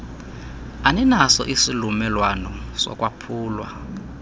aninaso isiumelwano sokwaphulwa